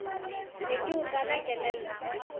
ne ke o kala kelello